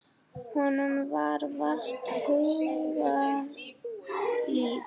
Honum var vart hugað líf.